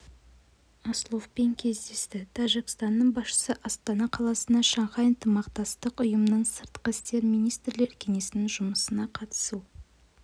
асловпен кездесті тәжікстанның басшысы астана қаласына шанхай ынтымақтастық ұйымының сыртқы істер министрлер кеңесінің жұмысына қатысу